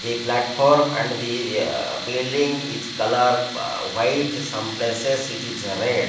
the platform and the aa building is coloured white some places it is red.